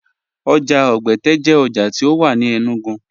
Oja Ogbẹte jẹ oja ti o wà ní Enugu.